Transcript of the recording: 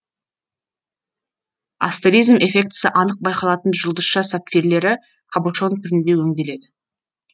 астеризм эффектісі анық байқалатын жұлдызша сапфирлері кабошон түрінде өңделеді